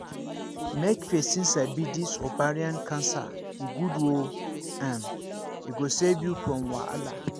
make persin sabi this ovarian cancer e good oooo um e go save you from wahala